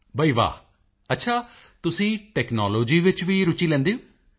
ਮੋਦੀ ਜੀ ਬਈ ਵਾਹ ਅੱਛਾ ਤੁਸੀਂ ਟੈਕਨਾਲੋਜੀ ਵਿੱਚ ਵੀ ਰੁਚੀ ਲੈਂਦੇ ਹੋ